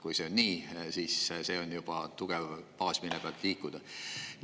Kui see on nii, siis see on juba tugev baas, mille pealt liikuda.